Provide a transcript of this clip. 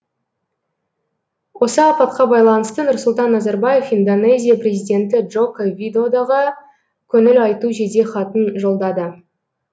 осы апатқа байланысты нұрсұлтан назарбаев индонезия президенті джоко видодаға көңіл айту жедехатын жолдады